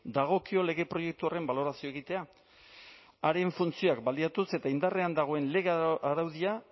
dagokio lege proiektu horren balorazioa egitea haren funtzioak baliatuz eta indarrean dagoen lege araudia